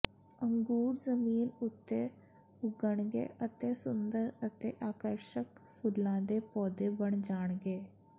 ਅੰਗੂਰ ਜ਼ਮੀਨ ਉੱਤੇ ਉੱਗਣਗੇ ਅਤੇ ਸੁੰਦਰ ਅਤੇ ਆਕਰਸ਼ਕ ਫੁੱਲਾਂ ਦੇ ਪੌਦੇ ਬਣ ਜਾਣਗੇ